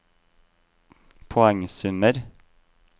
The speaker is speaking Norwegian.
poengsummer